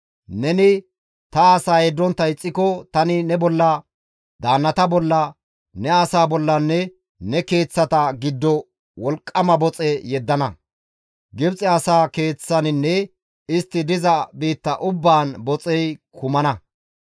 neni ta asaa yeddontta ixxiko, tani ne bolla, daannata bolla, ne asaa bollanne ne keeththata giddo wolqqama boxe yeddana; Gibxe asaa keeththaninne istti diza biitta ubbaan boxey kumana.